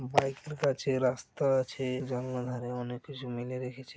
Bike রাখা আছে। রাস্তা আছে। জানলার ধারে অনেক কিছু মেলে রেখেছে।